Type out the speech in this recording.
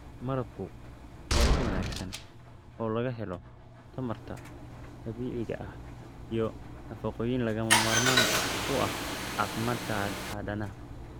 Malabku waa il wanaagsan oo laga helo tamarta dabiiciga ah iyo nafaqooyinka lagama maarmaanka u ah caafimaadka aadanaha.